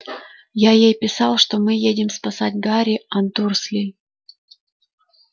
я ей написал что мы едем спасать гарри от дурслей